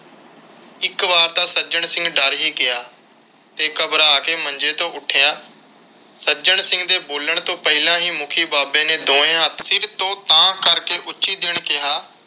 ਇਕ ਵਾਰ ਤਾਂ ਸੱਜਣ ਸਿੰਘ ਡਰ ਹੀ ਗਿਆ ਤੇ ਘਬਰਾ ਕੇ ਮੰਜੇ ਤੋਂ ਉੱਠਿਆ। ਸੱਜਣ ਸਿੰਘ ਦੇ ਬੋਲਣ ਤੋਂ ਪਹਿਲਾਂ ਹੀ ਮੁਖੀ ਬਾਬੇ ਨੇ ਦੋਵੇ ਹੱਥ ਸਿਰ ਤੋਂ ਉਤਾਂਹ ਕਰਕੇ ਉੱਚੀ ਕਿਹਾ